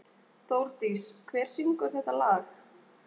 Þórdís, hver syngur þetta lag?